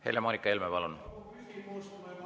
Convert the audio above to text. Helle-Moonika Helme, palun!